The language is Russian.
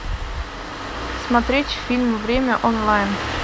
смотреть фильм время онлайн